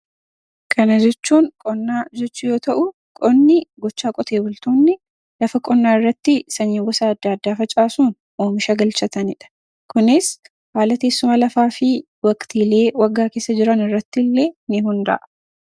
Kana jechuun qonna jechuu yoo ta'u, qonni gochaa qotee bultoonni lafa qonnaarratti sanyii gosa addaa addaa facaasuun oomisha galchanatanidha. Kunis haala teessuma lafaa fi waqtiilee waggaa keessa jiranirratti ni hundaa'a.